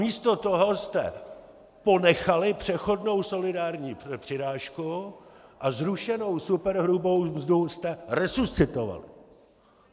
Místo toho jste ponechali přechodnou solidární přirážku a zrušenou superhrubou mzdu jste resuscitovali.